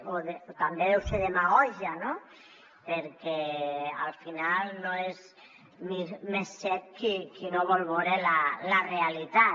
o també deu ser demagògia no perquè al final no és més cec qui no vol vore la realitat